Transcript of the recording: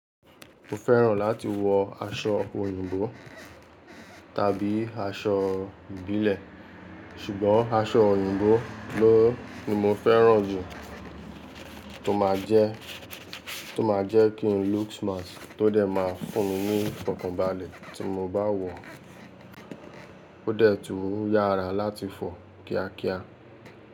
Mo fẹ́ràn láti wọ aṣọ òyìnbó tàbí aṣọ ìbílẹ̀, ṣùgbọ́n aṣọ òyìnbó ló ni mo fẹ́ràn jù tó máa jẹ́, tó máa jẹ́ kí n look smart tó dẹ̀ ma fún mi ní fokànbalẹ̀ tí mo bá wọ, ó dẹ̀ tún yára láti fọ̀ kíákíá.